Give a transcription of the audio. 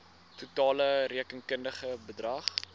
totale rekenkundige bedrag